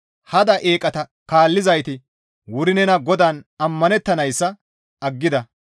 Hada eeqata kaallizayti wuri nenan GODAAN ammanettanayssa aggida.